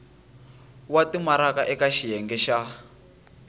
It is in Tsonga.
wa timaraka eka xiyenge xa